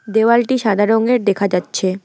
দেওয়ালটি সাদা রঙের দেখা যাচ্ছে।